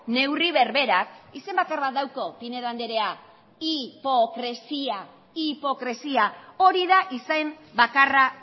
neurri berberak izen bakarra dauka pinedo andrea hipokresia hori da izen bakarra